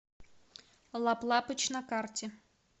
лап лапыч на карте